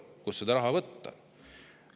Kust seda raha võtta?